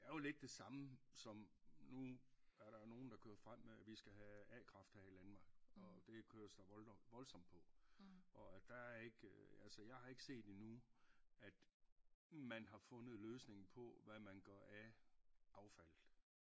Det er jo lidt det samme som nu er der jo nogle der kører frem med at vi skal have a-kraft her i Danmark og det kører voldsomt på og at der er ikke altså jeg har ikke set endnu at man har fundet løsningen på hvad man gør af affaldet